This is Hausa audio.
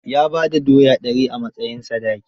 Ya ba da doya dari a matsayin sadaki.